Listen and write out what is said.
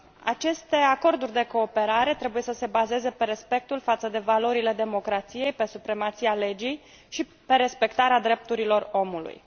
Aceste acorduri de cooperare trebuie să se bazeze pe respectul față de valorile democrației, pe supremația legii și pe respectarea drepturilor omului.